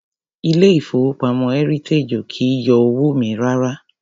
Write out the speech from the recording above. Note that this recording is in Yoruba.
Ilé ìfowópamọ́ Heritage ò kì í yọ owó mi rárá.